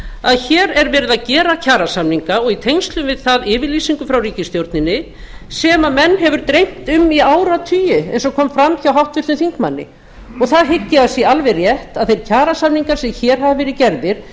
að hér er verið að gera kjarasamninga og í tengslum við það yfirlýsingu frá ríkisstjórninni sem menn hefur greint um í áratugi eins og kom fram hjá háttvirtum þingmanni og það hygg ég að sé alveg rétt að þeir kjarasamningar sem hér hafa verið gerðir